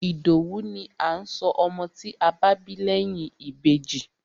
Ìdòwú ni à ń sọ ọmọ tí a bá bí lẹ́yìn Ìbejì.